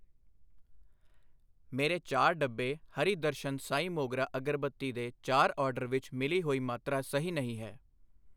ਮੇਰੇ ਚਾਰ ਡੱਬੇ ਹਰੀ ਦਰਸ਼ਨ ਸਾਈਂ ਮੋਗਰਾ ਅਗਰਬੱਤੀ ਦੇ ਚਾਰ ਆਰਡਰ ਵਿੱਚ ਮਿਲੀ ਹੋਈ ਮਾਤਰਾ ਸਹੀ ਨਹੀਂ ਹੈ।